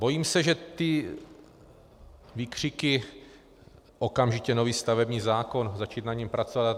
Bojím se, že ty výkřiky - okamžitě nový stavební zákon, začít na něm pracovat atd.